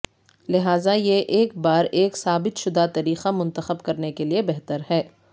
لہذا یہ ایک بار ایک ثابت شدہ طریقہ منتخب کرنے کے لئے بہتر ہے